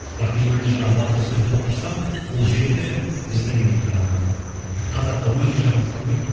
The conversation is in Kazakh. бірақ дегенмен де жаңағы батырдың сөзін толықтырсам ол жеті біздің ііі қазаққа өте жақын сан ғой